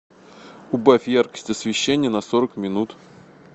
убавь яркость освещения на сорок минут